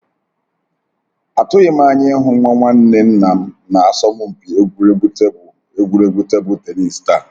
Atụghịm anya ịhụ nwa nwanne nnam na asọmpi egwuregwu table egwuregwu table tennis taa